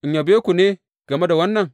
In yabe ku ne game da wannan?